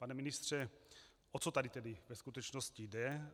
Pane ministře, o co tady tedy ve skutečnosti jde?